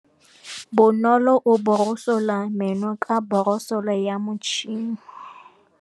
Bonolô o borosola meno ka borosolo ya motšhine.